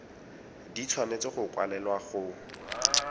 di tshwanetse go kwalelwa go